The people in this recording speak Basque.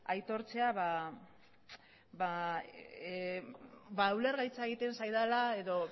aitortzea ba ulergaitza egiten zaidala edo